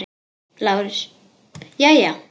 LÁRUS: Jæja?